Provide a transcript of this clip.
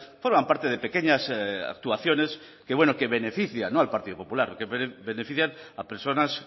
forman parte de pequeñas actuaciones que bueno que benefician al partido popular y que benefician a personas